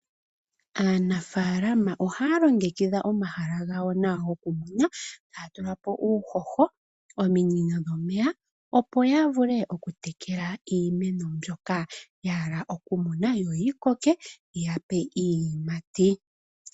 Aanafaalama ohaya longekidha omahala gawo nawa goku kunwa. Haya tulapo uuhoho, ominino dhomeya opo ya vule oku tekela iimeno mbyoka ya hala oku kuna yo yikoke yi ya pe iiyimati.